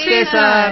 Namaste sir